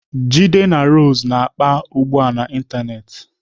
Jide na Rose na-akpa ugbu a n'ịntanetị.